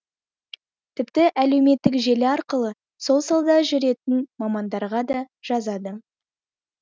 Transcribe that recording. тіпті әлеуметтік желі арқылы сол салада жүрген мамандарға да жазады